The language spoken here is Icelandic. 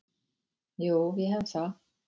Jú, ég hef það.